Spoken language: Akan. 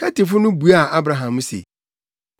Hetifo no buaa Abraham se,